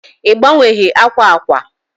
i gbanweghi akwa akwa?